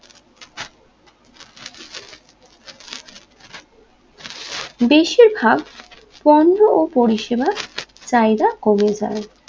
বেশিরভাগ পণ্য ও পরিষেবা চাহিদা কমে যায়